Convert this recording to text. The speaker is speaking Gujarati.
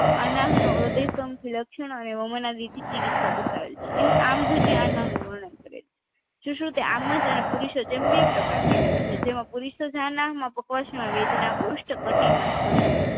અનાહનો હ્રદય સ્તંભથી લક્ષણ અને વામાનદીથી ચીકીત્સા બતાવેલ છે અહી આમજન્ય અનાહનો વર્ણન કરે છે સુ સુ કે આમજ અને પુરીસદ જેમ બે પ્રકાર થી થાય છે જેમાં પુરીસદ આનાહ માં કસ્ટ ના વેદના પુરુસ્ત કટીમાં સ્તંભ